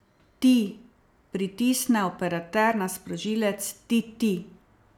Ti, pritisne operater na sprožilec, ti, ti!